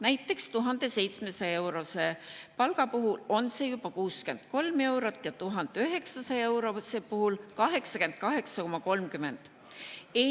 Näiteks 1700-eurose palga puhul on see juba 63 eurot ja 1900-eurose palga puhul 88,30 eurot.